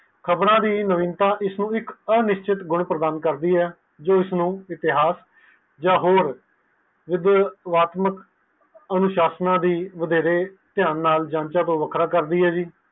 ਖ਼ਬਰਆ ਦੀ ਨਵੀਨਤਾ ਇਸ ਨੂੰ ਨਿਸ਼ਚਿਤ ਗੁਣ ਪ੍ਰਦਾਨ ਕਰਦੀ ਹੈ ਜੋ ਇਸ ਨੂੰ ਇਤਿਹਾਸ ਜਾ ਵਿਤਾਮਤਾਕ ਅਨੁਸ਼ਾਸ਼ਨ ਨੂੰ ਵਡੇਰੇ ਤਾਆਨ ਨਾਲ ਵੱਖਰਾ ਕਰਦੀ ਹੈ ਜੀ